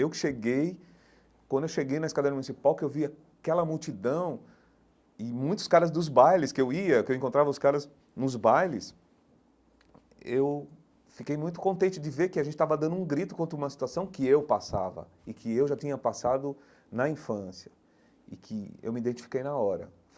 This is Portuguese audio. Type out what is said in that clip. Eu que cheguei... Quando eu cheguei na Escadaria Municipal, que eu vi aquela multidão e muitos caras dos bailes que eu ia, que eu encontrava os caras nos bailes, eu fiquei muito contente de ver que a gente estava dando um grito contra uma situação que eu passava e que eu já tinha passado na infância e que eu me identifiquei na hora.